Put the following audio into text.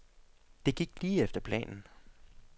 Det gik lige efter planen.